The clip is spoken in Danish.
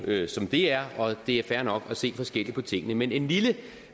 det er jo som det er og det er fair nok at se forskelligt på tingene men en lille